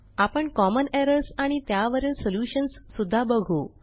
आपण common errors आणि त्यावरील सॉल्युशन्स सुद्धा बघू